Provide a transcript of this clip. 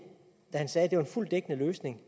da han sagde at det var en fuldt dækkende løsning